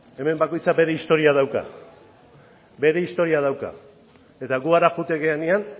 hemen bakoitza bere historia dauka eta gu hara joaten garenean